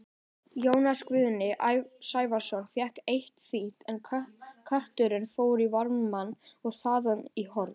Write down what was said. Jónas Guðni Sævarsson fékk eitt fínt, en knötturinn fór í varnarmann og þaðan í horn.